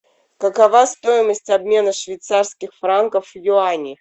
какова стоимость обмена швейцарских франков в юани